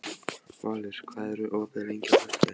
Valur, hvað er opið lengi á föstudaginn?